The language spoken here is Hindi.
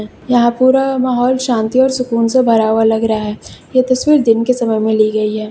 यहां पुरा माहौल शांति और सुकून से भरा हुआ लग रहा है ये तस्वीर दिन के समय में ली गई है।